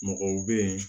Mɔgɔw bɛ yen